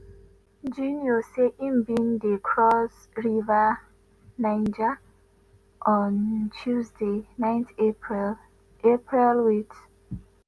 junior say im bin dey cross river niger on tuesday 9 april april wit